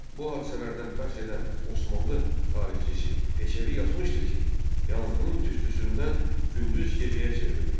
Bu hadisələrdən bəhs edən Osmanlı tarixçisi Peçevi yazmışdır ki, yanğının tüstüsündən gündüz gecəyə çevrilmişdi.